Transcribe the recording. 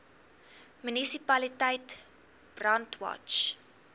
munisipaliteit brandwatch